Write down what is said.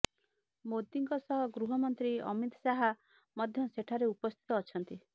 ମୋଦୀଙ୍କ ସହ ଗୃହମନ୍ତ୍ରୀ ଅମିତ ଶାହା ମଧ୍ୟ ସେଠାରେ ଉପସ୍ଥିତ ଅଛନ୍ତି